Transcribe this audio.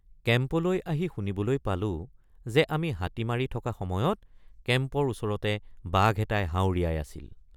কেম্পলৈ আহি শুনিবলৈ পালো যে আমি হাতী মাৰি থকা সময়ত কেম্পৰ ওচৰতে বাঘ এটাই হাঁউৰিয়াই আছিল।